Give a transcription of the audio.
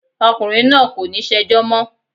Ọkùnrin náà kò ní ṣẹjọ́ mọ́.